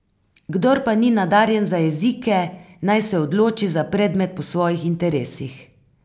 Kdor pa ni nadarjen za jezike, naj se odloči za predmet po svojih interesih.